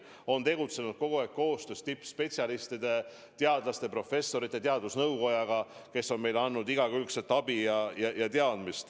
Me oleme tegutsenud kogu aeg koostöös tippspetsialistidega, teadlaste, professorite, teadusnõukojaga, kes on meile andnud igakülgset abi ja teadmisi.